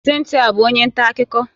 Cynthia ọ bụ onye nta akụkọ?